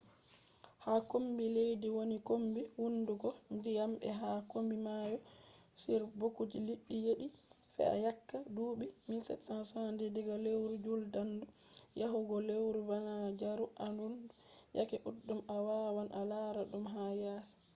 ha kombi leddi woni kombi hunduko ndiyam be ha kombi mayo on boks liɗɗi jeli fe’ata yake duuɓi 1770 diga lewru juldandu yahugo lewru banjaru arandu. yake ɗuɗɗum a wawan a lara ɗum ha yasi